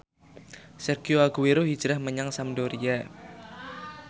Sergio Aguero hijrah menyang Sampdoria